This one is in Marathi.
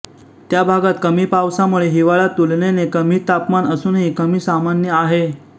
त्या भागात कमी पावसामुळे हिवाळा तुलनेने कमी तापमान असूनही कमी सामान्य आहे